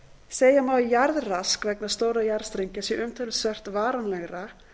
segja má að jarðrask vegna stórra jarðstrengja sé umtalsvert varanlegra